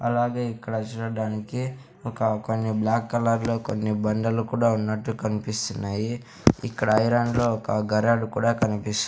అలాగే ఇక్కడ చూడడానికి ఒక కొన్ని బ్లాక్ కలర్లో కొన్ని బండలు కూడా ఉన్నట్టు కన్పిస్తున్నాయి ఇక్కడ ఐరన్లో ఒక గరాడు కూడా కనిపిస్--